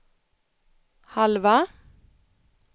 halva